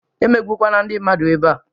E megbukwana ndị mmadụ ebea